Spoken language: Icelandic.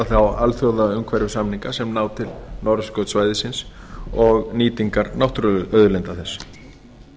þá alþjóðaumhverfissamninga sem ná til norðurskautssvæðisins og nýtingar náttúruauðlinda þess